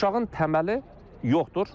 Uşağın təməli yoxdur.